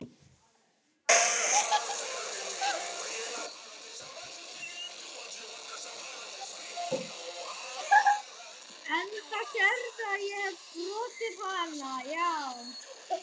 Enda sérðu að ég hefi brotið hana.